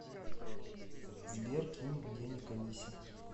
сбер кинь денег алисе